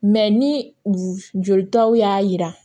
ni jolitaw y'a jira